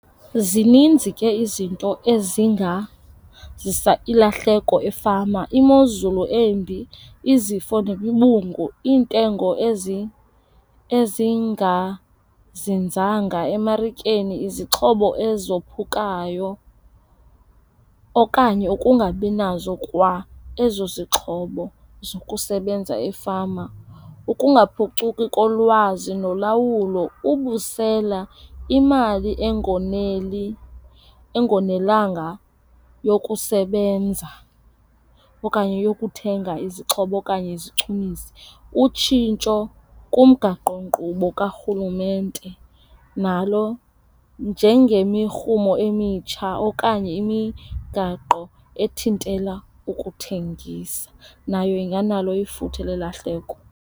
Zininzi ke izinto ezingazisa ilahleko efama. Imozulu embi, izifo nemibungu, iintengo ezingazinzanga emarikeni, izixhobo ezophukayo okanye ukungabi nazo kwa ezo zixhobo zokusebenza efama. Ukungaphucuki kolwazi nolawulo, ubusela, imali engonelanga yokusebenza okanye yokuthenga izixhobo okanye izichumiso. Utshintsho kumgaqonkqubo kaRhulumente nalo njengemirhumo emitsha okanye imigaqo ethintela ukuthengisa nayo inganalo ifuthe lelahleko.